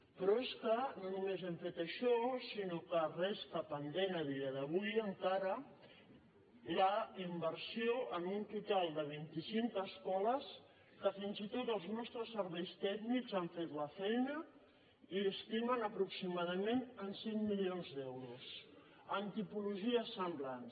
però és que no només hem fet això sinó que resta pendent a dia d’avui encara la inversió en un total de vinti cinc escoles que fins i tot els nostres serveis tècnics han fet la feina i estimen aproximadament en cinc milions d’euros en tipologies semblants